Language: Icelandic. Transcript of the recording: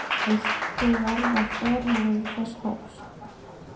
Vilt þú verða formælandi þess hóps?